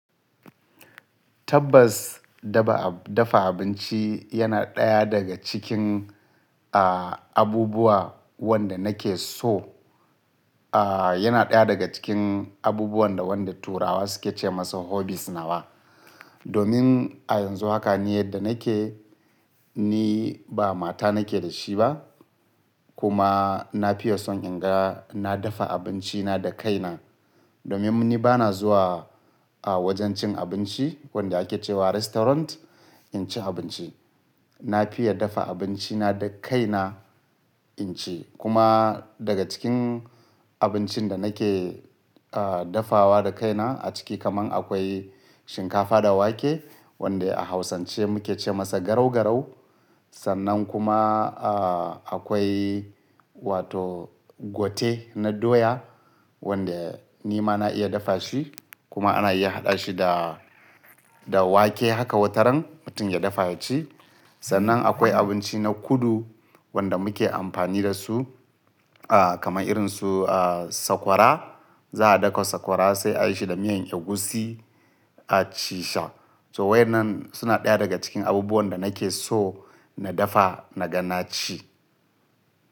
Tabbas, dafa abinci yana ɗaya daga cikin, aah, abubuwa wanda nake so. Aah, yana ɗaya daga cikin abubuwan da wanda Turawa suke ce masa hobbies nawa. Domin a yanzu haka ni yadda nake, ni ba mata nake da shi ba. Kuma na son in ga na dafa abinci na da kaina. Domin ni ba na zuwa a wajen cin abinci wanda ake cewa restaurant, in ci abinci. Na fiya dafa abinci na da kaina in ci. Kuma daga cikin abincin da nake, aah, dafawa da kaina a ciki kaman akwai shinkafa da wake wanda a Hausance muke ce masa garau garau. Sannan kuma, aah, akwai wato pate na doya wanda ni ma na iya dafa shi kuma ana iya haɗa shi da, da wake haka wataran mutum ya dafa ya ci. Sannan akwai abinci na kudu wanda muke amfani da su, aah, kamar irin su, aah, sakwara. Za a ɗauka sakwara sai a yi shi da miyan egusi a ci shi. So wai nan suna ɗaya daga cikin abubuwan da nake so na dafa na ga na ci.